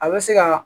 A bɛ se ka